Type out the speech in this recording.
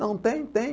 Não, tem tem.